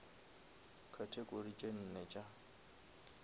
category tše nne tša